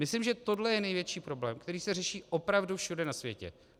Myslím, že tohle je největší problém, který se řeší opravdu všude na světě.